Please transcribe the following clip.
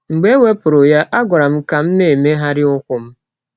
Mgbe e wepụrụ ya, a gwara m ka m na - emegharị ụkwụ m.